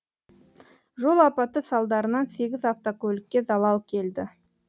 жол апаты салдарынан сегіз автокөлікке залал келді